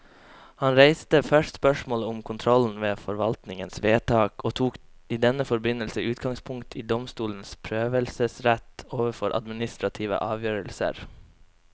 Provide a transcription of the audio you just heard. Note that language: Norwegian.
Han reiste først spørsmålet om kontrollen med forvaltningens vedtak, og tok i denne forbindelse utgangspunkt i domstolenes prøvelsesrett overfor administrative avgjørelser.